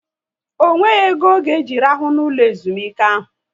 Ọ nweghị ego ọ ga eji rahụ n'ụlọ ezumike ahu